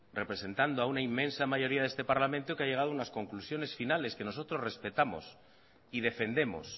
representando a una inmensa mayoría de este parlamento que ha llegado a unas conclusiones finales que nosotros respetamos y defendemos